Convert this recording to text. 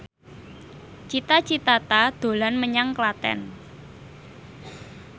Cita Citata dolan menyang Klaten